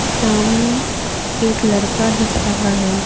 सामने एक लड़का दिख रहा है।